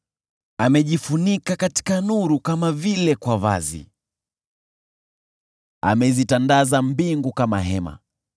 Amejifunika katika nuru kama vile kwa vazi, amezitandaza mbingu kama hema